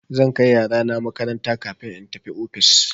Zan kai yarana makaranta kafin in tafi ofis.